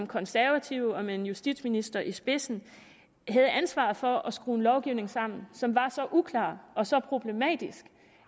konservative med en justitsminister i spidsen havde ansvaret for at skrue en lovgivning sammen som var så uklar og så problematisk